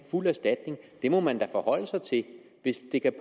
fuld erstatning må man da forholde sig til hvis det kan